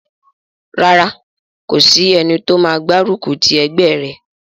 Rárá, kò sí ẹni tó máa gbárùkù ti ẹgbẹ́ rẹ̀